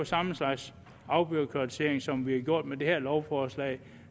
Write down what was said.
samme slags afbureaukratisering som vi har gjort med det her lovforslag